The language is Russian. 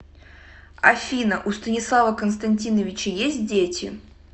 афина у станислава константиновича есть дети